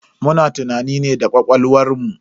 Muna tunani ne da ƙwaƙwalwar mu.